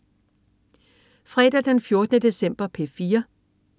Fredag den 14. december - P4: